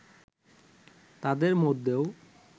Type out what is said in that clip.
তাদের মধ্যেও